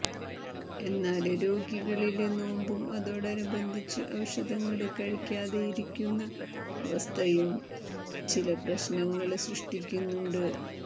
എന്നാല് രോഗികളില് നോമ്പും അതോടനുബന്ധിച്ച് ഔഷധങ്ങള് കഴിക്കാതെയിരിക്കുന്ന അവസ്ഥയും ചില പ്രശ്നങ്ങള് സൃഷ്ടിക്കുന്നുണ്ട്